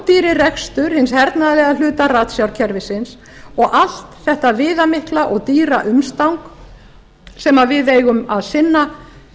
hinn rándýri rekstur hins hernaðarlega hluta ratsjárkerfisins og allt þetta viðamikla og dýra umstang sem við eigum að sinna